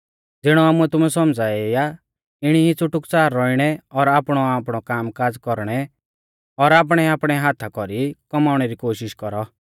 ज़िणै आमुऐ तुमै सौमझ़ाऐ ई आ इणी ई च़ुटुकच़ार रौइणै और आपणौआपणौ काम काज़ कौरणै और आपणैआपणै हाथा कौरी कौमाउणै री कोशिष कौरौ